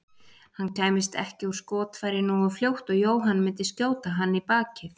Hann kæmist ekki úr skotfæri nógu fljótt og Jóhann myndi skjóta hann í bakið.